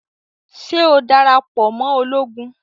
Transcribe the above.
Ṣe o darapọ̀ mọ Ológùn?